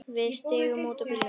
Við stigum út úr bílnum.